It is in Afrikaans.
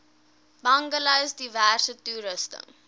bungalows diverse toerusting